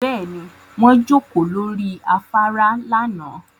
Bẹ́ẹ̀ni, wọ́n jókòó lórí afárá lánàá